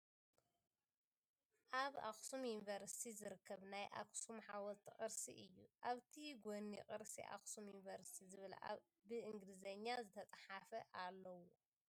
ኣብ ኣክሱም ዩንቭርሲቲ ዝርከብ ናይ ኣክሱም ሓወልቲ ቅርሲ እይ ። ኣብቲ ጎኒ ቅርሲ ኣክሱም ዩንቨርሲቲ ዝብል ብ እንግሊዘኛ ዝተፀሓፈ ኣሎዎ ።